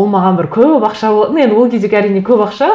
ол маған бір көп ақша ну енді ол кездегі әрине көп ақша